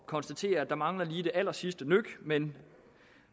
konstatere at der mangler lige det allersidste nøk men